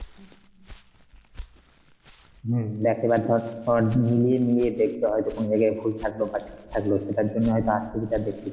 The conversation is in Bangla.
হম দেখ এবার ধর তোর মিলিয়ে মিলিয়ে দেখতে হয় যখন দেখে ভুল থাকলো বা ঠিক থাকলো সেটার জন্য হয়তো,